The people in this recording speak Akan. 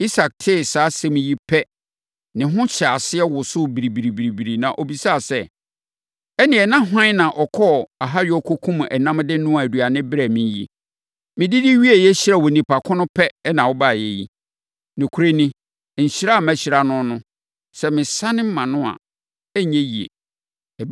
Isak tee saa asɛm yi pɛ, ne ho hyɛɛ aseɛ wosoo biribiribiri, na ɔbisaa sɛ, “Ɛnneɛ, na hwan na ɔkɔɔ ahayɔ kɔkumm ɛnam de noaa aduane brɛɛ me yi. Medidi wieeɛ hyiraa onipa ko no pɛ na wobaeɛ yi? Nokorɛ mu ni, nhyira a mahyira no no, sɛ mesane mʼano a, ɛrenyɛ yie!”